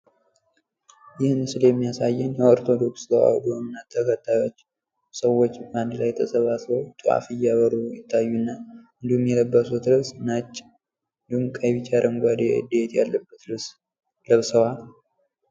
ይህ ምስል የሚያሳየን የኦርቶዶክስ ተዋሕዶ ሀይማኖት ተከታዮች ሰዎች አንድ ላይ ተሰባስበው ጧፍ እያበሩ ይታዩናል። እንዲሁም የለበሱት ልብስ ነጭ፣ እንዲሁም ቀይ ፣ቢጫ አረንጓዴ ያለበት ልብስ ለብሰዋል።